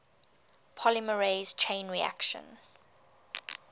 polymerase chain reaction